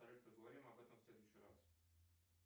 поговорим об этом в следующий раз